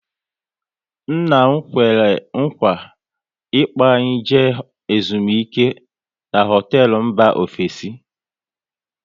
Nna m kwere nkwa ị kpo anyị jee ezumike n'hotelu mba ofesi